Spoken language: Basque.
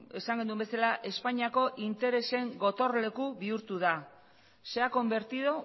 esan genuen bezala espainiako interesen gotorleku bihurtu da se ha convertido